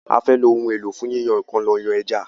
a fè ló Ohun èlò fún yíyan nǹkan là yán ejá.